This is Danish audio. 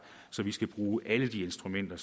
så vi skal bruge alle de instrumenter